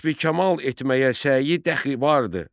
Kəsbi kamal etməyə səyi dəxi vardır.